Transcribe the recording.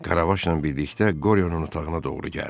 Karavaşla birlikdə Qoryonun otağına doğru gəldi.